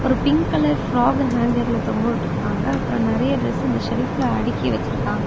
ஒரு pink colour frock ஹாங்கர்ல தொங்க வுட்ருக்காங்க அப்புறம் நிறைய டிரஸ் இந்த செல்ப்ல அடுக்கி வச்சிருக்காங்--